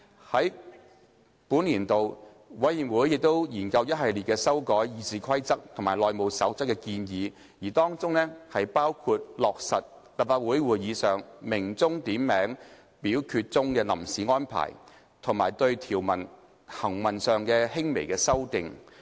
在本年度，委員會亦研究一系列修改《議事規則》及《內務守則》的建議，當中包括落實立法會會議上鳴響點名表決鐘的臨時安排，以及對條文行文上的輕微修訂。